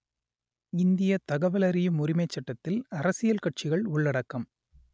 இந்தியத் தகவலறியும் உரிமைச் சட்டத்தில் அரசியல் கட்சிகள் உள்ளடக்கம்